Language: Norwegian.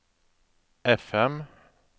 FM